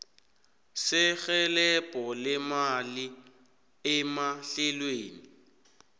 serhelebho lemali emahlelweni